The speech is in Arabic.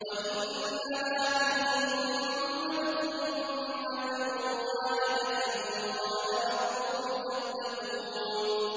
وَإِنَّ هَٰذِهِ أُمَّتُكُمْ أُمَّةً وَاحِدَةً وَأَنَا رَبُّكُمْ فَاتَّقُونِ